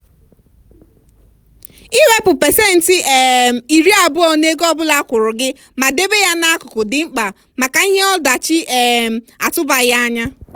iwepụ pasentị um iri abụọ n'ego ọ bụla akwụrụ gị ma debe ya n'akụkụ dị mkpa maka ihe ọdachi um atụbaghị anya.